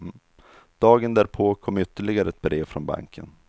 Dagen därpå kom ytterligare ett brev från banken.